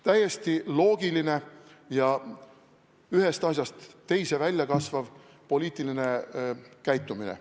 Täiesti loogiline poliitiline käitumine, üks asi kasvab teisest välja.